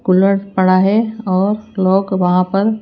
cooler पड़ा है और लोग वहाँ पर --